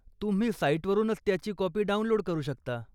तुम्ही साईट वरूनच त्याची कॉपी डाऊनलोड करू शकता.